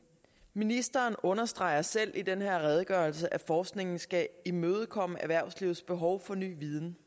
ministeren understreger selv i den her redegørelse at forskningen skal imødekomme erhvervslivets behov for ny viden